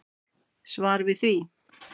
Svar við því.